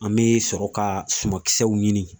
An me sɔrɔ ka sumankisɛw ɲini